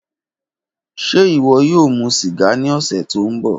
Ṣe iwọ yoo mu siga ni ọsẹ to nbọ?